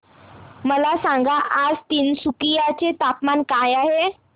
मला सांगा आज तिनसुकिया चे तापमान काय आहे